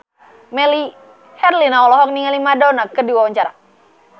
Melly Herlina olohok ningali Madonna keur diwawancara